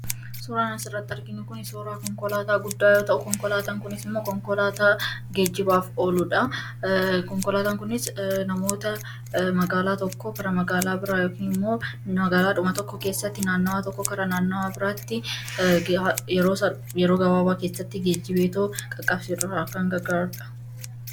Suuraan asirratti arginu kuni suuraa konkolaataa guddaa yoo ta'u konkolaataan kunis immoo konkolaataa geejjibaaf oluudha. konkolaatan kunis namoota magaalaa tokkoo gara magaalaa biraa yookaan immoo magaalaadhuma tokko keessatti naannawaa tokkoo gara naannawaa biraatti yeroo gabaabaa keessatti geejjibeetoo qaqqabsiisuudhaan kan gargaarudha.